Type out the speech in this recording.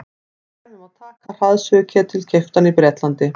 sem dæmi má taka hraðsuðuketil keyptan í bretlandi